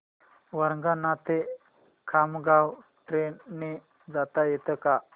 वरणगाव ते खामगाव ट्रेन ने जाता येतं का